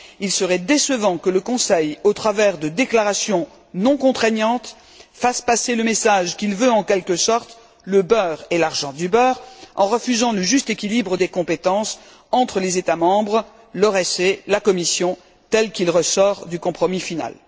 Il serait décevant que le Conseil, au travers de déclarations non contraignantes, fasse passer le message qu'il veut, en quelque sorte, le beurre et l'argent du beurre en refusant le juste équilibre des compétences entre les États membres, l'ORECE et la Commission, tel qu'il ressort du compromis final.